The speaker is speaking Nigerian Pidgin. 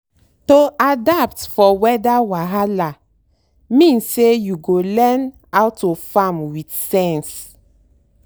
to adapt for weather wahala mean say you go learn how to farm with sense.